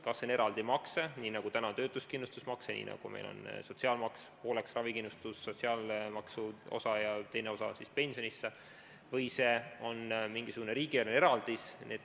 Kas see on eraldi makse, nii nagu on töötuskindlustusmakse, nii nagu meil on sotsiaalmaksus ravikindlustusosa ning teine osa läheb pensioni jaoks, või on see mingisugune riigieelarveline eraldis?